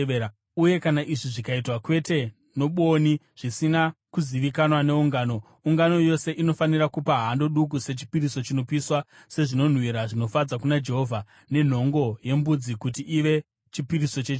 uye kana izvi zvikaitwa kwete nobwoni zvisina kuzivikanwa neungano, ungano yose inofanira kupa hando duku sechipiriso chinopiswa, sezvinonhuhwira zvinofadza kuna Jehovha, nenhongo yembudzi kuti ive chipiriso chechivi.